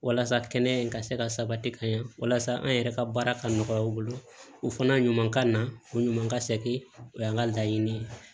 Walasa kɛnɛya in ka se ka sabati ka ɲɛ walasa an yɛrɛ ka baara ka nɔgɔya u bolo u fana ɲuman ka na o ɲuman ka sɛ o an ka laɲini ye